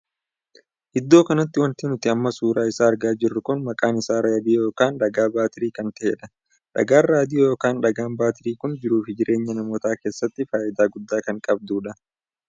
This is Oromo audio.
Iddoo kanatti wanti nuti amma suuraa isaa argaa jirru kun maqaa isaa raadiyoo ykn dhagaa baatirii kan tahedha. dhagaan raadiyoo ykn dhagaan baatirii kun jiruu fi jireenya namootaa keessatti faayidaa guddaa kanqabdudha.